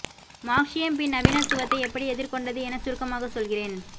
மார்க்ஸியம் பின் நவீனத்துவத்தை எப்படி எதிர்கொண்டது என சுருக்கமாக சொல்கிறேன்